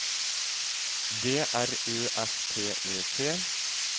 D R Ø F T E T